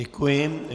Děkuji.